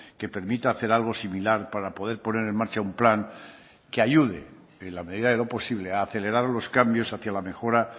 que permita hacer algo similar para poder poner en marcha un plan que ayude en la medida de lo posible a acelerar los cambios hacía la mejora